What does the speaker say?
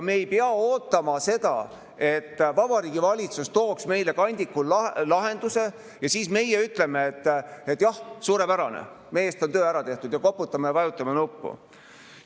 Me ei pea ootama, et Vabariigi Valitsus tooks meile kandikul lahenduse, ja meie siis ütleme, et jah, suurepärane, meie eest on töö ära tehtud, ja vajutame nuppu ja koputame.